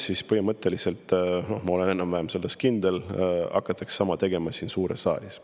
Ja nüüd ma olen enam-vähem kindel, et sama hakatakse tegema siin suures saalis.